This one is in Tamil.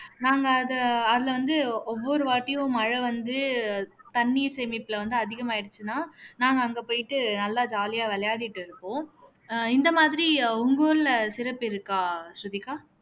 நாங்க அதை அதுல வந்து ஒவ்வொரு வாட்டியும் மழை வந்து தண்ணீர் சேமிப்புல வந்து அதிகமாயிருச்சுன்னா நாங்க அங்க போயிட்டு நல்லா jolly ஆ விளையாடிட்டு இருப்போம் ஆஹ் இந்த மாதிரி உங்க ஊர்ல சிறப்பு இருக்கா ஸ்ருதிகா